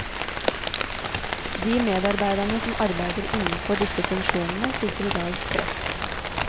De medarbeiderne som arbeider innenfor disse funksjonene sitter i dag spredt.